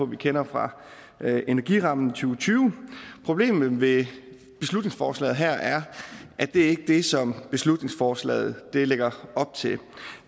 vi kender fra energirammen to tusind og tyve problemet ved beslutningsforslaget her er at det ikke er det som beslutningsforslaget lægger op til